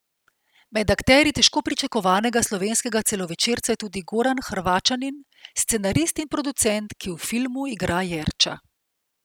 Med akterji težko pričakovanega slovenskega celovečerca je tudi Goran Hrvaćanin, scenarist in producent, ki v filmu igra Jerča.